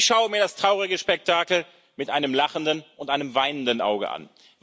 Ich schaue mir das traurige Spektakel mit einem lachenden und einem weinenden Auge an.